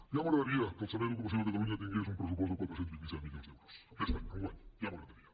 ja m’agradaria que el servei d’ocupació de catalunya tingués un pressupost de quatre cents i vint set milions d’euros aquest any enguany ja m’agradaria